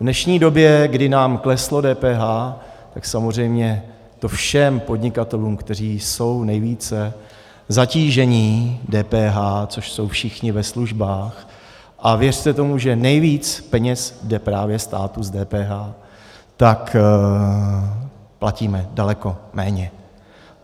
V dnešní době, kdy nám kleslo DPH, tak samozřejmě to všem podnikatelům, kteří jsou nejvíce zatížení DPH, což jsou všichni ve službách, a věřte tomu, že nejvíc peněz jde právě státu z DPH, tak platíme daleko méně.